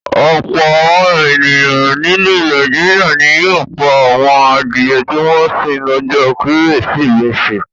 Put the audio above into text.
Ọ̀pọ̀ àwọn ènìyàn nílẹ̀ Nàìjíríà ni yóò pa àwọn adìẹ tí wọ́n ń sìn lọ́jọ́ Kérésìmesì.